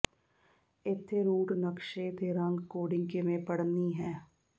ਇੱਥੇ ਰੂਟ ਨਕਸ਼ੇ ਤੇ ਰੰਗ ਕੋਡਿੰਗ ਕਿਵੇਂ ਪੜ੍ਹਨੀ ਹੈ